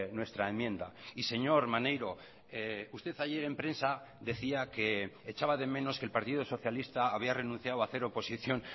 nuestra enmienda y señor maneiro usted ayer en prensa decía que echaba de menos que el partido socialista había renunciado a hacer oposición